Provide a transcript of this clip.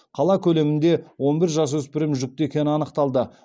қала көлемінде он бір жасөспірім жүкті екені анықталды